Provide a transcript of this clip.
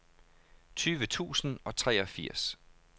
tyve tusind og treogfirs